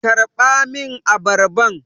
Karɓa min abarban!